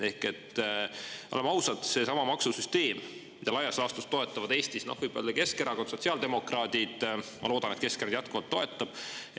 Ehk et, oleme ausad, seesama maksusüsteem, mida laias laastus toetavad Eestis võib-olla Keskerakond, sotsiaaldemokraadid, ma loodan, et Keskerakond jätkuvalt toetab.